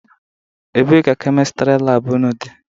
Ebee ka Kemịstịrị laabụ ụnụ dị?